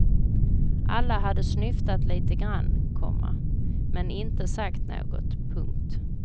Alla hade snyftat lite grann, komma men inte sagt något. punkt